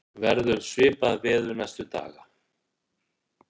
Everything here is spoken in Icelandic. verður svipað veður næstu daga